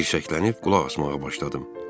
Tirşəklənib qulaq asmağa başladım.